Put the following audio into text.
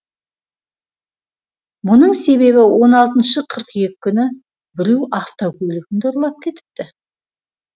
мұның себебі он алтыншы қыркүйек күні біреу автокөлігімді ұрлап кетіпті